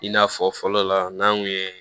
I n'a fɔ fɔlɔ la n'an kun ye